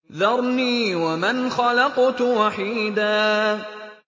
ذَرْنِي وَمَنْ خَلَقْتُ وَحِيدًا